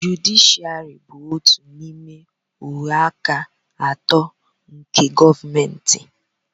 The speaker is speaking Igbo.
jụdịshịàrị bụ otu n'ime ògwè aka atọ nke gọọmentị